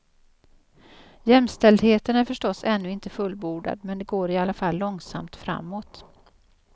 Jämställdheten är förstås ännu inte fullbordad men det går i alla fall långsamt framåt.